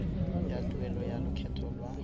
ya tuelo ya lokgetho lwa